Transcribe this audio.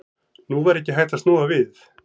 Nú var ekki hægt að snúa við.